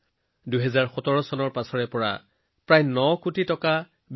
২০১৭ চনৰ পৰা আজিলৈকে তেওঁ বিভিন্ন সামাজিক খণ্ডত প্ৰায় ৯৪ কোটি টকা ব্যয় কৰিছে